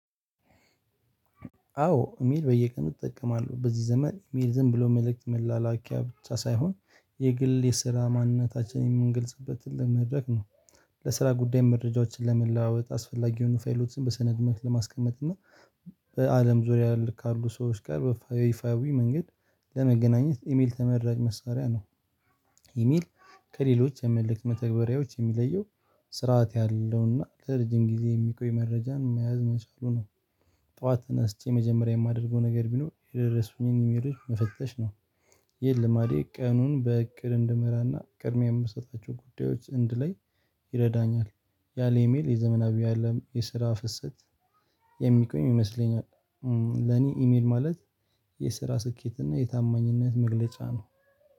አዎ ኢሜል በየቀኑ እጠቀማለሁ በዚህ ዘመን ኢሜል ዝም ብሎ መልእክት መላላኪያ ብቻ ሳይሆን የግል የስራ ማንነታችንን የምንገልጽበት ትልቅ መድረክ ነው። ለስራ ጉዳይ መረጃዎችን ለመለዋወጥ አስፈላጊ የሆኑ ፋይሎችን በሰነድ መልክ ለማስቀመጥ እና በአለም ዙሪያ ያሉ ካሉ ሰዎች ጋር በይፋዊ መንገድ ለመገናኘት ኢሜል ተመራጭ መሳሪያ ነው። ኢሜል ከሌሎች የመልክት መተግበሪያዎች የሚለየው ስርዓት ያለውና ለረጅም ጊዜ የሚቆይ መረጃን መያዝ መቻሉ ነው። ጠዋት ተነስቼ መጀመሪያ የማደርገው ነገር ቢኖር የደረሱኝን ኢሜሎች መፈተሽ ነው። ይህ ልማዴ ቀኑን በእቅድ እንድመራና ቅድሚያ የምሰጣቸውን ጉዳዮች እንድለይ ይረዳኛል። ያለ ኢሜል የዘመናዊ አለም የስራ ፍሰት የሚቆም ይመስለኛል። ለኔ ኢሜል ማለት የስራ ስኬት እና የታማኝነት መግለጫ ነው